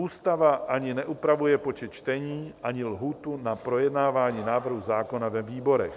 Ústava ani neupravuje počet čtení ani lhůtu na projednávání návrhu zákona ve výborech.